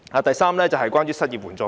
第三是關於失業援助金。